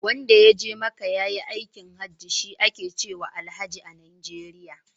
Wanda ya je maka ya yi aikin haji, shi ake cewa Alhaji a Najeriya.